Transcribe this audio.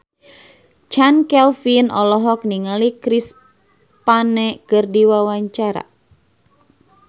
Chand Kelvin olohok ningali Chris Pane keur diwawancara